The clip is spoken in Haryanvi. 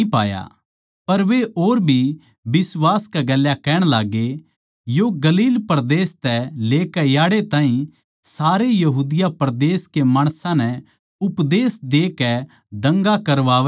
पर वे और भी बिश्वास के गेल्या कहण लाग्गे यो गलील परदेस तै लेकै याड़ै ताहीं सारे यहूदिया परदेस के माणसां नै उपदेश देके दंगा करवावै सै